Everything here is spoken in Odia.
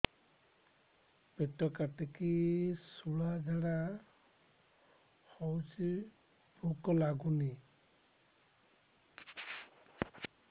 ପେଟ କାଟିକି ଶୂଳା ଝାଡ଼ା ହଉଚି ଭୁକ ଲାଗୁନି